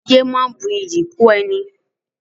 Ìyè máa ń bu iyì kún ẹni